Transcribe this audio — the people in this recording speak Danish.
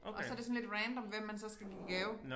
Og så det sådan lidt random hvem man så skal give gave